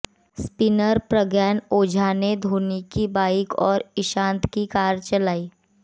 spinner Pragyan Ojha ने धोनी की bike और ईशांत की कार चलाई